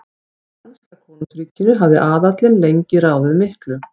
Í danska konungsríkinu hafði aðallinn lengi ráðið miklu.